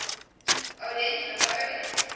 odense river odense